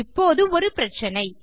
இப்போது ஒரு பிரச்சினை